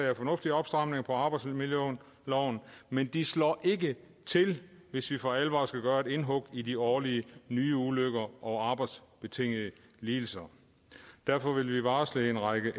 er fornuftige opstramninger af arbejdsmiljøloven men de slår ikke til hvis vi for alvor skal gøre indhug i de årlige nye ulykker og arbejdsbetingede lidelser derfor varsler vi en række